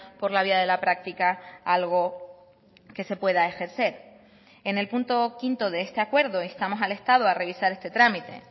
por la vía de la práctica algo que se pueda ejercer en el punto quinto de este acuerdo instamos al estado a revisar este trámite